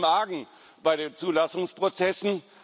Es liegt viel im Argen bei den Zulassungsprozessen.